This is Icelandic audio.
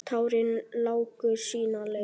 Tárin láku sína leið.